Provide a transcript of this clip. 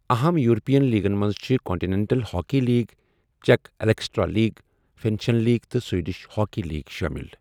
اَہَم یورپیَن لیگَن منٛز چھِ کونٹینینٹل ہاکی لیٖگ، چیک ایکسٹرالیٖگ، فنش لیٖگ تہٕ سویڈش ہاکی لیٖگ شٲمِل۔